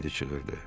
Miledi çığırdı.